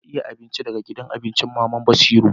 Na aiya abincin daga gidan abincin mama'n Basira.